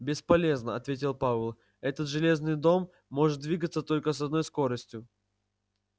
бесполезно ответил пауэлл этот железный дом может двигаться только с одной скоростью